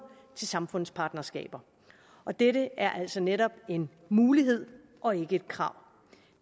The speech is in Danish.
til samfundspartnerskaber og dette er jo altså netop en mulighed og ikke et krav